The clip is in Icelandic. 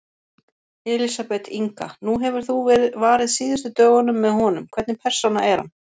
Elísabet Inga: Nú hefur þú varið síðustu dögum með honum, hvernig persóna er hann?